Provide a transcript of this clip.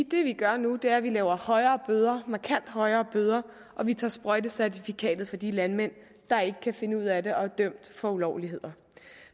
det vi gør nu er at vi laver højere bøder markant højere bøder og vi tager sprøjtecertifikatet fra de landmænd der ikke kan finde ud af det og er dømt for ulovligheder